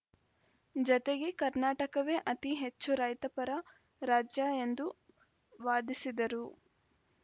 ಜತೆಗೆ ಕರ್ನಾಟಕವೇ ಅತಿ ಹೆಚ್ಚು ರೈತ ಪರ ರಾಜ್ಯ ಎಂದು ವಾದಿಸಿದರು